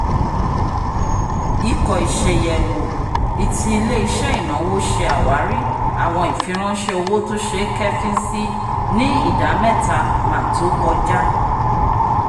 ikọ́ iṣayẹwo iti ile-iṣẹ ìnáwó ṣe awari awọn ifiranṣẹ òwò tó ṣe é kẹ̀fìn sí ni ìdá-mẹtamà tó kọja